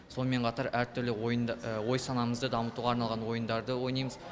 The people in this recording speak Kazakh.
сонымен қатар әр түрлі ой санамызды дамытуға арналған ойындарды ойнаймыз